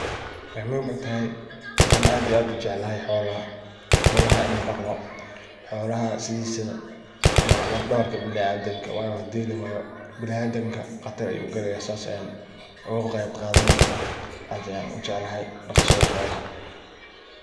Waxay muhim u tahay waxan aad iyo aad u jeclahay daqidaa xolaha. Xolaha inan dhaqdo xolaha sidhisaba waa laf dhabarka biniadamka, wayo hadii lawaya biniadamka Qatar ayu galaya sidhi aan oga qeyb qadan lahay aad ayan u ieclahay dhaqashada xolaha.